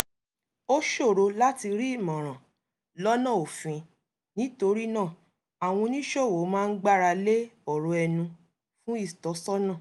ó ṣòro láti rí ìmọ̀ràn lọ́nà òfin nítorí náà àwọn oníṣòwò máa ń gbáralé ọ̀rọ̀ ẹnu fún ìtọ́sọ́nà